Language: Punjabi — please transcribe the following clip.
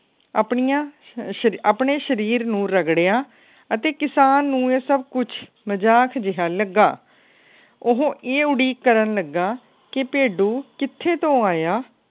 ਆਪਣੀਆਂ ਸਸ ਆਪਣੇ ਸਰੀਰ ਨੂੰ ਰਗੜਿਆ ਅਤੇ ਕਿਸਾਨ ਨੂੰ ਇਹ ਸਬ ਕੁੱਜ ਮਜਾਕ ਜਿਹਾ ਲੱਗਾ। ਉਹ ਇਹ ਉਡੀਕ ਕਰਨ ਲੱਗਾ ਕੇ ਭੇਡੂ ਕਿਥੇ ਤੋਂ ਆਇਆ